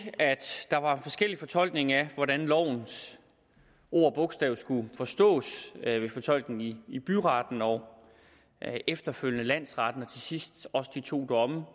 at der var forskellige fortolkninger af hvordan lovens ord og bogstav skulle forstås der var fortolkningen i byretten og efterfølgende landsretten og til sidst også de to domme